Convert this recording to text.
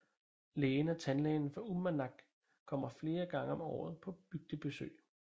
Lægen og tandlægen fra Uummannaq kommer flere gange om året på bygdebesøg